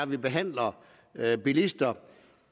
vi behandler bilister